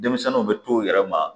Denmisɛnninw bɛ to u yɛrɛ ma